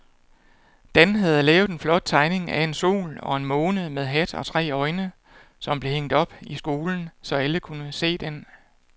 Dan havde lavet en flot tegning af en sol og en måne med hat og tre øjne, som blev hængt op i skolen, så alle kunne se den.